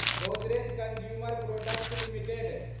Godrej consumer products limited